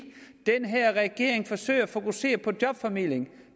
den her regering forsøger at fokusere på jobformidling